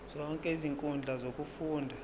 zonke izinkundla zokufunda